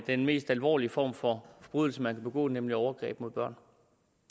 den mest alvorlige form for forbrydelse man kan begå nemlig overgreb mod børn